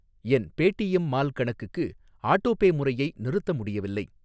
என் Paytm mall கணக்குக்கு autopay முறையை நிறுத்த முடியவில்லை.